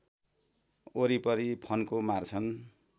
वरिपरि फन्को मार्छन्